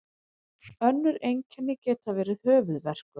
önnur einkenni geta verið höfuðverkur